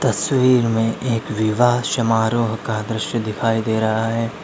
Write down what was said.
तस्वीर में एक विवाह समारोह का दृश्य दिखाई दे रहा है।